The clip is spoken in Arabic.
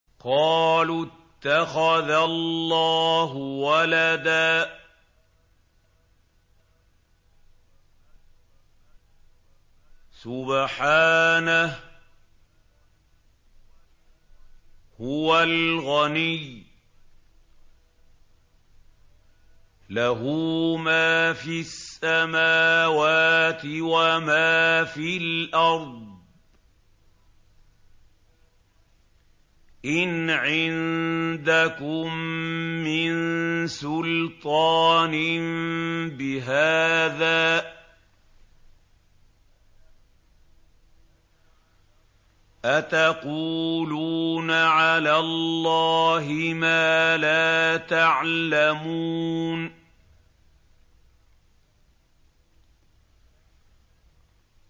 قَالُوا اتَّخَذَ اللَّهُ وَلَدًا ۗ سُبْحَانَهُ ۖ هُوَ الْغَنِيُّ ۖ لَهُ مَا فِي السَّمَاوَاتِ وَمَا فِي الْأَرْضِ ۚ إِنْ عِندَكُم مِّن سُلْطَانٍ بِهَٰذَا ۚ أَتَقُولُونَ عَلَى اللَّهِ مَا لَا تَعْلَمُونَ